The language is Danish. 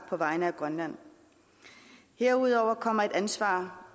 på vegne af grønland herudover kommer et ansvar